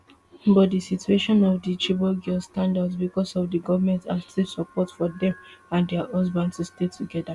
but di situation of di chibok girls stand out becos of di goment active support for dem and dia husbands to stay togeda